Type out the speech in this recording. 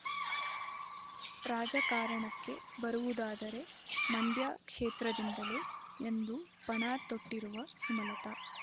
ರಾಜಕಾರಣಕ್ಕೆ ಬರುವುದಾದರೆ ಮಂಡ್ಯ ಕ್ಷೇತ್ರದಿಂದಲೇ ಎಂದು ಪಣ ತೊಟ್ಟಿರುವ ಸುಮಲತ